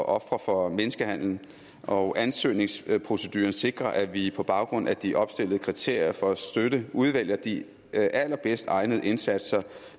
ofre for menneskehandel og ansøgningsproceduren sikrer at vi på baggrund af de opstillede kriterier for at støtte udvælger de allerbedst egnede indsatser